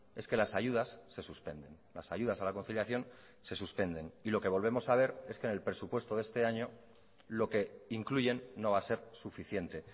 es que las ayudas se suspenden las ayudas a la conciliación se suspenden y lo que volvemos a ver es que en el presupuesto de este año lo que incluyen no va a ser suficiente